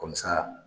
Kɔmi sa